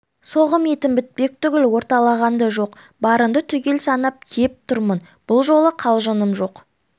соғым етің бітпек түгіл орталаған да жоқ барыңды түгел санап кеп тұрмын бұл жолы қалжыңым жоқ